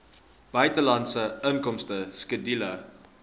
buitelandse inkomste skedule